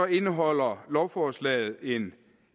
indeholder lovforslaget en